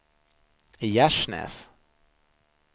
Gärsnäs